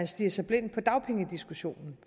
stirrer sig blind på dagpengediskussionen